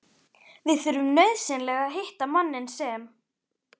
VIÐ ÞURFUM NAUÐSYNLEGA AÐ HITTA MANNINN SEM